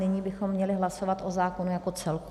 Nyní bychom měli hlasovat o zákonu jako celku.